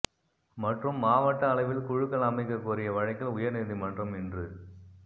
மற்றும் மாவட்ட அளவில் குழுக்கள் அமைக்க கோரிய வழக்கில் உயரீநீதிமன்றம் இன்று